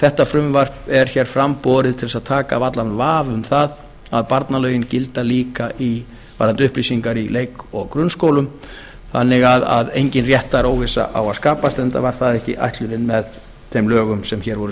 þetta frumvarp er hér fram borið til að taka af allan vafa um það að barnalögin gildi líka varðandi upplýsingar í leik og grunnskólum þannig að engin réttaróvissa á að skapast enda var það ekki ætlunin með þeim lögum sem hér voru